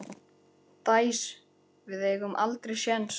Dæs, við eigum aldrei séns!